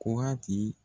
Kɔngati